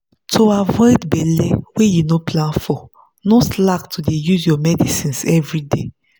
to avoid belle wey you no plan for no slack to dey use your medicines everyday.